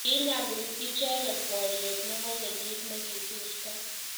kiinyalul icheke borye nebo kenyot ne kosirtoi